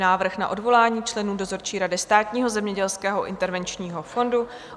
Návrh na odvolání členů dozorčí rady Státního zemědělského intervenčního fondu